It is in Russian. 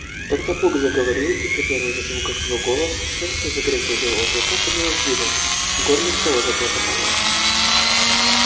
тогда бог заговорил и при первых же звуках его голоса шерсть на загривке у белого клыка поднялась дыбом в горле снова заклокотало